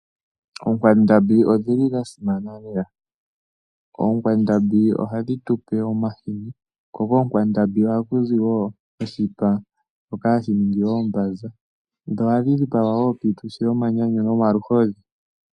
Oonkwandambi odhili dha simana lela. Oonkwandambi ohadhi tupe omahini. Ko koonkwandambi ohaku zi wo oshipa shoka hashi ningi oombanza. Dho ohadhi dhipagwa wo piituthi yomanyanyu nomaluhodhi.